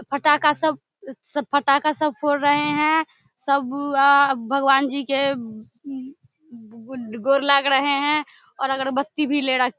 फटाका सब सब फटाका सब फोड़ रहे है सब व अ भगवान जी के गोर लाग रहे है और अगरबत्ती भी ले रखे --